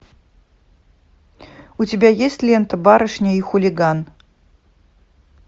у тебя есть лента барышня и хулиган